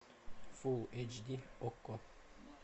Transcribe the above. фул эйч ди окко